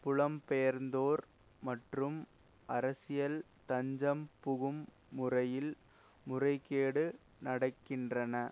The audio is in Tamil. புலம்பெயர்ந்தோர் மற்றும் அரசியல் தஞ்சம் புகும் முறையில் முறைகேடு நடக்கின்றன